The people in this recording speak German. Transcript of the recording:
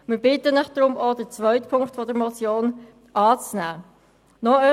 Wir bitten Sie daher, auch den zweiten Punkt der Motion anzunehmen.